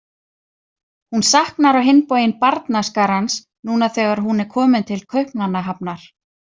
Hún saknar á hinn bóginn barnaskarans, núna þegar hún er komin til Kaupmannahafnar.